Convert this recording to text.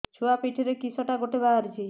ଛୁଆ ପିଠିରେ କିଶଟା ଗୋଟେ ବାହାରିଛି